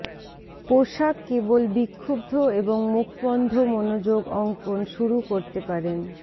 পোষা কেবল বিক্ষুব্ধ এবং মুখবন্ধ মনোযোগ অঙ্কন শুরু করতে পারেন